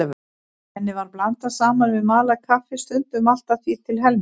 Henni var blandað saman við malað kaffi, stundum allt að því til helminga.